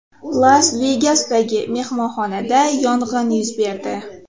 Las-Vegasdagi mehmonxonada yong‘in yuz berdi.